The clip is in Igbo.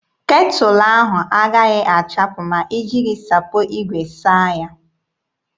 Ketụlụ ahụ agaghị achapụ ma i jighị sapo igwe saa ya.